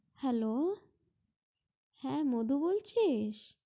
hello হ্যা মধু বলছিস